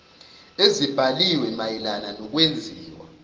ezibhaliwe mayelana nokwenziwa